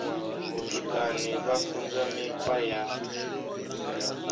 vhutukani vha funzwa mikhwa ya